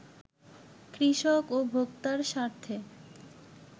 কৃষক ও ভোক্তার স্বার্থে